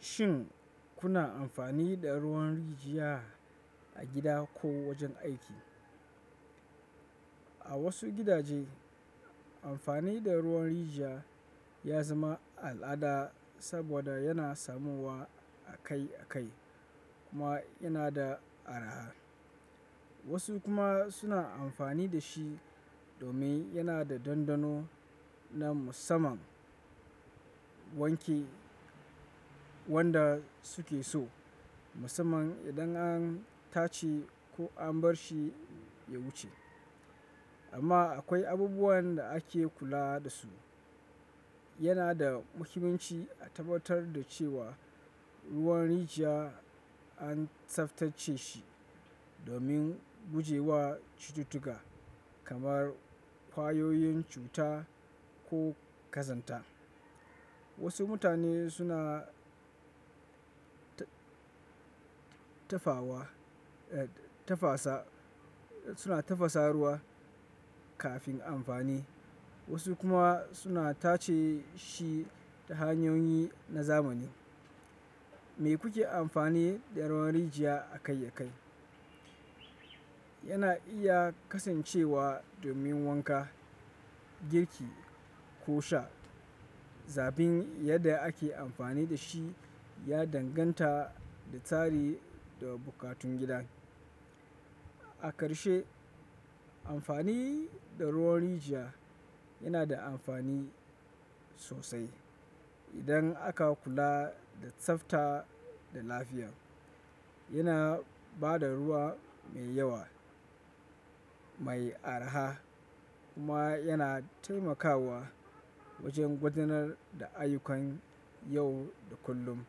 Shin kuna amfani da ruwan rijiya a gida ko wajen aiki? A wasu gidaje, amfani da ruwan rijiya ya zama al'ada saboda yana samuwa akai-akai kuma yana da araha. Wasu kuma suna amfani da shi domin yana da dandano na musamman wanke wanda suke so, musamman idan an tace ko an bar shi ya wuce. Amma akwai abubuwan da ake kula da su. Yana da muhimmanci a tabbatar da cewa ruwan rijiya an tsaftace shi domin guje wa cututtuka kamar kwayoyin cuta ko kazanta. Wasu mutane suna suna tafasa ruwa kafin amfani, wasu kuma suna tace shi ta hanyoyi na zamani. Me kuke amfani da ruwan rijiya akai-akai? Yana iya kasancewa domin wanka, girki ko sha, zabin yadda ake amfani da shi ya danganta da tsari da buƙatun gidan. A karshe, amfani da ruwan rijiya yana da amfani sosai idan aka kula da tsafta da lafiya. Yana ba da ruwa mai yawa mai arha kuma yana taimakawa wajen gudanar da ayyukan yau da kullum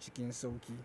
cikin sauƙi.